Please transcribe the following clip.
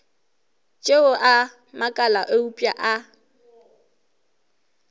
tšeo a makala eupša a